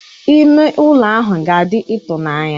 Ime ụlọ ahụ ga-adị ịtụnanya.